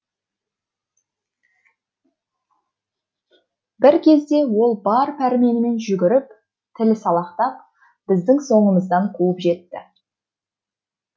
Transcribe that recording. бір кезде ол бар пәрменімен жүгіріп тілі салақтап біздің соңымыздан қуып жетті